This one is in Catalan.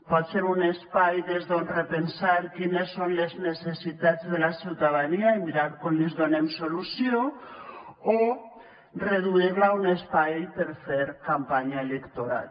pot ser un espai des d’on repensar quines són les necessitats de la ciutadania i mirar com els donem solució o reduir la a un espai per fer campanya electoral